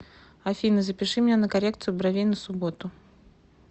афина запиши меня на коррекцию бровей на субботу